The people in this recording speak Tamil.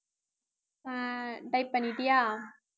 அஹ் type பண்ணிட்டியா